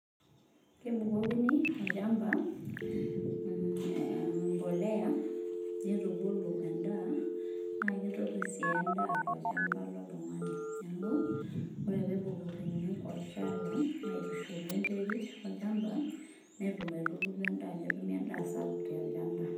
kebukokini olchambaa mmm embolea neitubulu endaa na kitopir si endaa tolchamba lontungani niaku ore tenebukokini olchala waitushul wenterit olchamba netum aitubulu enda netumi endaa sapuk tolchamba.